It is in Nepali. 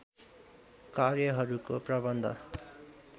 कार्यहरूको प्रबन्ध